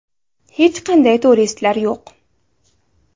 Hech qanday turistlar yo‘q.